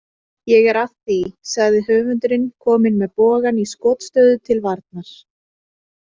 Ég er að því, sagði höfundurinn komin með bogann í skotstöðu til varnar.